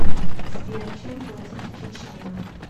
сбер чем платить в чечне